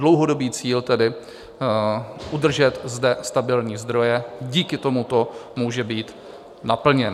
Dlouhodobý cíl tedy udržet zde stabilní zdroje díky tomuto může být naplněn.